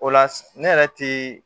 O la ne yɛrɛ ti